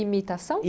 Imitação?